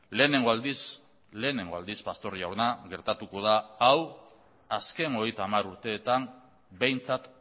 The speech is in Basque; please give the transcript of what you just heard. lehenengo aldiz lehenengo aldiz pastor jauna gertatuko da hau azken hogeita hamar urteetan behintzat